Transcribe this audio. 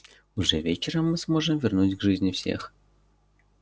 уже вечером мы сможем вернуть к жизни всех